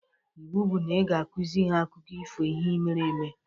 Iwu bụ na ị ga-akuzi ha Akụkọ ihe mere eme!